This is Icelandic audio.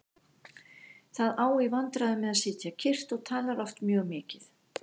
Það á í vandræðum með að sitja kyrrt og talar oft mjög mikið.